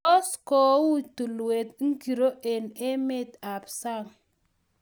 tos koi tulwet ngiro eng' emet ab sang